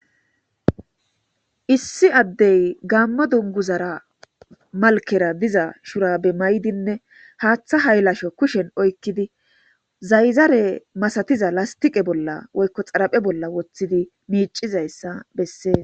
issi addey gammo dunguzara malkera diza shurabe may7dinne haaththa haylasho kushen oykkidi zayzare masatiza lastiqe bolla woykko xaraphe bolla woththidi miicizayssa bessees.